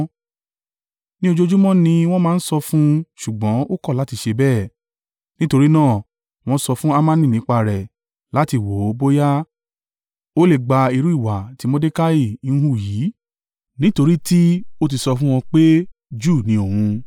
Ní ojoojúmọ́ ni wọ́n máa n sọ fún un ṣùgbọ́n ó kọ̀ láti ṣe bẹ́ẹ̀. Nítorí náà, wọ́n sọ fún Hamani nípa rẹ̀ láti wò ó bóyá ó lè gba irú ìwà tí Mordekai ń hù yìí, nítorí tí ó ti sọ fún wọn pé Júù ni òun.